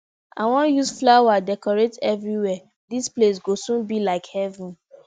i wan use flower decorate everywhere dis place go soon be like heaven